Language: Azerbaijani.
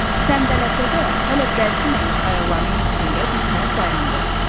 Səndələsə də, hələ bərkiməmiş ayaqlarının üstündə birtəhər dayandı.